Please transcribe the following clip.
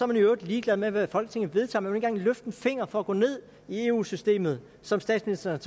man i øvrigt ligeglad med hvad folketinget vedtager men engang løfte en finger for at gå ned i eu systemet som statsministeren